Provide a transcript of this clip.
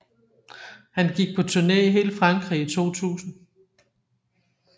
Han gik på turné i hele Frankrig i 2000